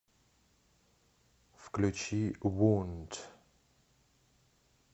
включи воунд